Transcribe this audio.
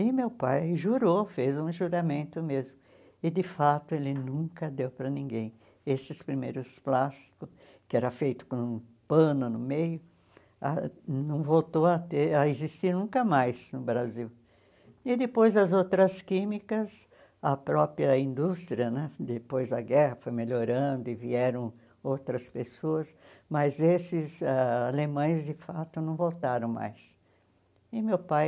e meu pai jurou, fez um juramento mesmo e de fato ele nunca deu para ninguém esses primeiros plásticos que era feito com um pano no meio ah não voltou a ter a existir nunca mais no Brasil e depois as outras químicas a própria indústria né depois da guerra foi melhorando e vieram outras pessoas mas esses ãh alemães de fato não voltaram mais e meu pai